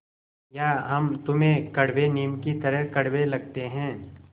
या हम तुम्हें कड़वे नीम की तरह कड़वे लगते हैं